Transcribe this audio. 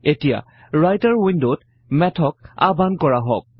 এতিয়া ৰাইটাৰ উইন্ডত মেথক আহ্বান কৰা হওঁক